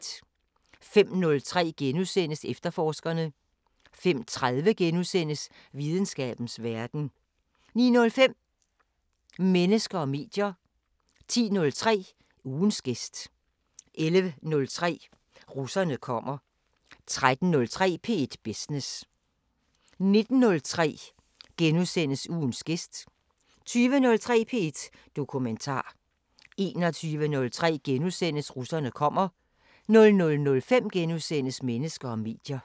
05:03: Efterforskerne * 05:30: Videnskabens Verden * 09:05: Mennesker og medier 10:03: Ugens gæst 11:03: Russerne kommer 13:03: P1 Business 19:03: Ugens gæst * 20:03: P1 Dokumentar * 21:03: Russerne kommer * 00:05: Mennesker og medier *